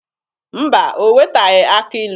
Mba, o wetaghị akị ilu.